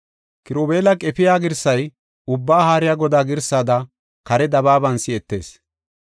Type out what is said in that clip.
Kirubeela qefiya girsay Ubbaa Haariya Godaa girsada kare dabaaban si7etees.